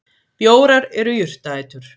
Bjórar eru jurtaætur.